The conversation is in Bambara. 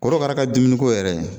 Korokara ka dumuniko yɛrɛ